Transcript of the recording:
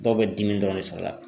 Dɔw bɛ dimi dɔrɔn de sɔr'a la.